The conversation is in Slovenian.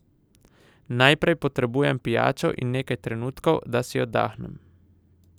Najprej potrebujem pijačo in nekaj trenutkov, da si oddahnem!